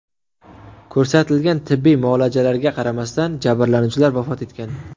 Ko‘rsatilgan tibbiy muolajalarga qaramasdan jabrlanuvchilar vafot etgan.